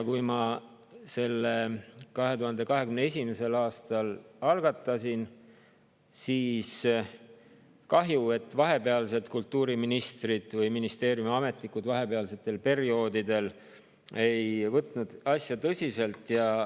Mina selle 2021. aastal algatasin ja on kahju, et vahepeal ei võtnud kultuuriministrid või ministeeriumiametnikud asja tõsiselt.